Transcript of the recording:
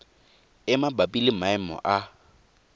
e mabapi le maemo a